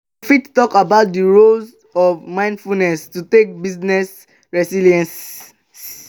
you fit talk about di role of mindfulness to take building resilience?